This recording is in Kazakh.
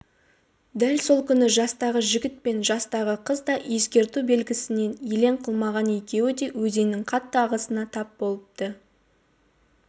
дәл сол күні жастағы жігіт пен жастағы қыз да ескерту белгісін елең қылмаған екеуі де өзеннің қатты ағысына тап болыпты